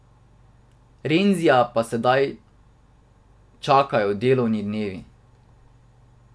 Renzija pa sedaj čakajo delovni dnevi.